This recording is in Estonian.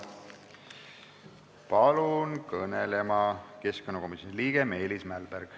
Palun kõnelema keskkonnakomisjoni liikme Meelis Mälbergi.